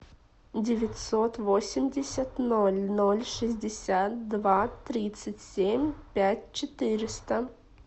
девятьсот восемьдесят ноль ноль шестьдесят два тридцать семь пять четыреста